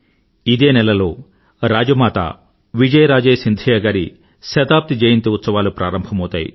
ఇదే నెలలో రాజమాత విజయరాజే సింధియా గారి శతాబ్ది జయంతి ఉత్సవాలు ప్రారంభమవుతాయి